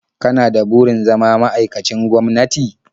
Kana da burin zama ma'aikacin gwamnati?